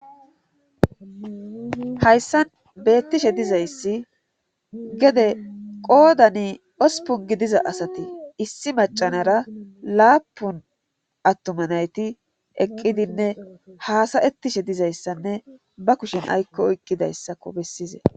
hayssan beettishe dizayssi gede qoodani osupun gidiza asati issi macanara laapun attoma nayti eqqidinne haasayettishe dizayssanne ba kushen aykko oykqidayssako bessize